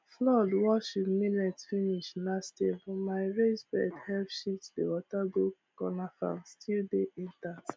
flood wash him millet finish last year but my raised bed help shift the water go corner farm still dey intact